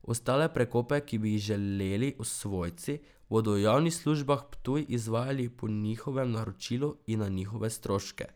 Ostale prekope, ki bi jih želeli svojci, bodo v Javnih službah Ptuj izvajali po njihovem naročilu in na njihove stroške.